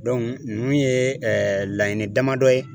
ninnu ye ɛɛ laɲini damadɔ ye